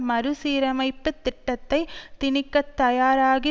மறுசீரமைப்பு திட்டத்தை திணிக்கத் தயாராகி